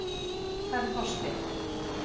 Hvar er Þorsteinn?